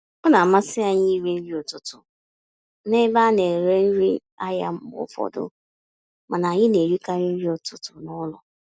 Ọ namasị anyị irí nri ụtụtụ n'ebe a nere nri ahịa mgbe ụfọdụ, mana anyị na-erikarị nri ụtụtụ n'ụlọ.